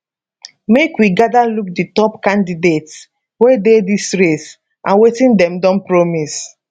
make we gada look di top candidates wey dey dis race and wetin dem don promise